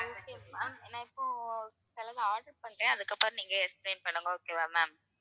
ஆஹ் okay ma'am நான் இப்போ சிலது order பண்றேன் அதுக்கப்புறம் நீங்க explain பண்ணுங்க okay வா ma'am